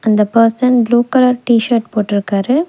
அந்த person blue colour T shirt போட்ருக்காரு.